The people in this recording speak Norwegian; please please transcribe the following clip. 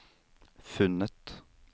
funnet